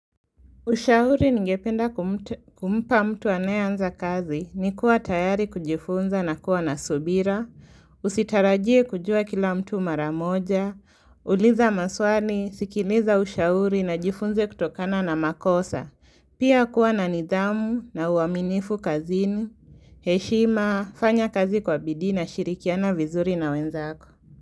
Ushauri ningependa kumpa mtu anayeanza kazi ni kuwa tayari kujifunza na kuwa na subira, usitarajie kujua kila mtu mara moja, uliza maswali, sikiliza ushauri na jifunze kutokana na makosa, pia kuwa na nidhamu na uaminifu kazini, heshima, fanya kazi kwa bidii na shirikiana vizuri na wenzako.